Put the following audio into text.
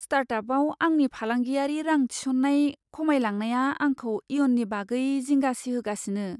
स्टार्टआपआव आंनि फालांगियारि रां थिसननाय खमायलांनाया आंखौ इयुननि बागै जिंगा सिहोगासिनो।